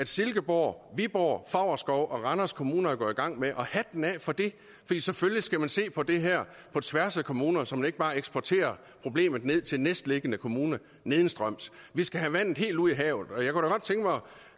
silkeborg viborg favrskov og randers kommuner er gået i gang med og hatten af for det fordi selvfølgelig skal man se på det her på tværs af kommuner så man ikke bare eksporterer problemet ned til næstliggende kommune nedstrøms vi skal have vandet helt ud i havet